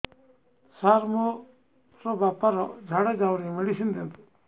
ସାର ମୋର ବାପା ର ଝାଡା ଯାଉନି ମେଡିସିନ ଦିଅନ୍ତୁ